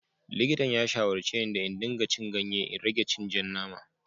Likitan ya shawarce ne da in dinga cin ganye da in rage cin ja nama.